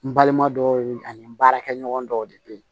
N balima dɔw ani n baarakɛɲɔgɔn dɔw de bɛ yen